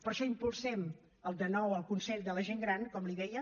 per això impulsem de nou el consell de la gent gran com li deia